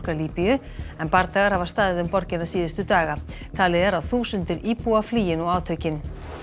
Líbíu en bardagar hafa staðið um borgina síðustu daga talið er að þúsundir íbúa flýi nú átökin